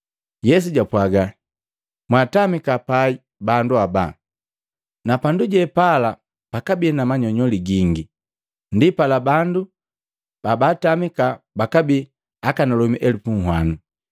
Yesu japwaaga, “Mwatamika pai bandu haba.” Napandu jepala pakabi na manyonyoli gingi. Ndipala bandu babatamiki bakabii akanalomi elupu uhwano.